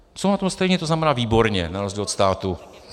Jsou na tom stejně, to znamená výborně, na rozdíl od státu.